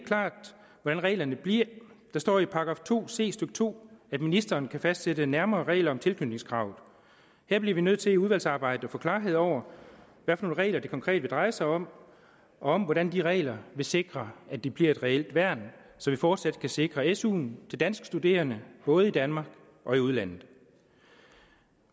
klart hvordan reglerne bliver der står i § to c stykke to at ministeren kan fastsætte nærmere regler om tilknytningskravet her bliver vi nødt til i udvalgsarbejdet at få klarhed over hvilke regler det konkret vil dreje sig om om og hvordan de regler vil sikre at det bliver et reelt værn så vi fortsat kan sikre suen til danske studerende både i danmark og i udlandet